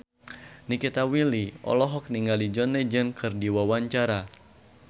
Nikita Willy olohok ningali John Legend keur diwawancara